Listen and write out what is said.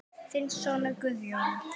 Þinn sonur Guðjón.